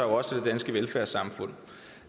også det danske velfærdssamfund